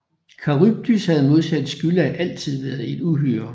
Charybdis havde modsat Skylla altid været et uhyre